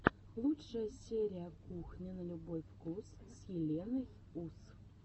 лучшая серия кухня на любой вкус с еленой ус